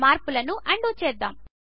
మార్పులను అన్డూ చేద్దాము